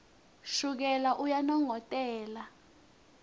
shukela uyanongotela